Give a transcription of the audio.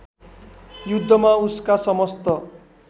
युद्धमा उसका समस्त